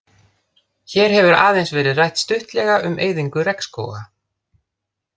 Hér hefur aðeins verið rætt stuttlega um eyðingu regnskóga.